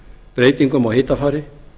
breytingum á hitafari